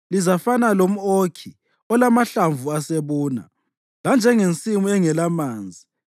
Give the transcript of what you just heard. Lizafana lomʼokhi olamahlamvu asebuna, lanjengensimu engelamanzi.